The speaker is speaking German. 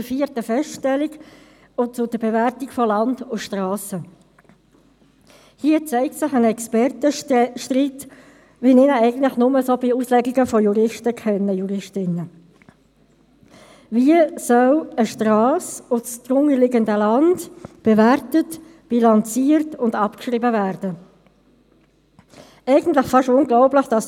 Wir sind ursprünglich eigentlich davon ausgegangen, dass die Rechnung schon in der Septembersession hätte genehmigt werden können, weil der Kanton ja sein Rechnungslegungsmodell für die Rechnung 2017 auf HRM2 umgestellt hat und dies der erste Abschluss nach diesem neuen Rechnungslegungsmodell war.